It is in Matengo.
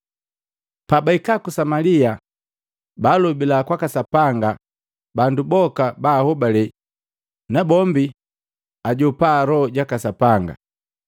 Pabaika ku Samalia baalobila kwaka Sapanga bandu boka bahobale nabombi ajopa Loho jaka Sapanga